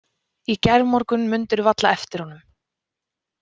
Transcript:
Í gærmorgun mundirðu varla eftir honum.